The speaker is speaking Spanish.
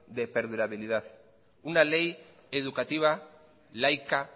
de perdurabilidad una ley educativa laica